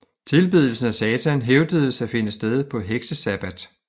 Tilbedelsen af Satan hævdedes at finde sted på heksesabbat